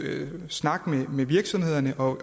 snak med virksomhederne og